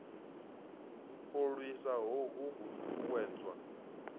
u lwisa hohu ho ṱuṱuwedzwa